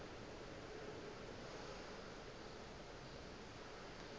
ge e ka ba o